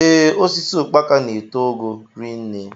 Ee, osisi ukpaka n'eto ogo rinne.